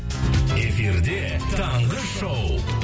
эфирде таңғы шоу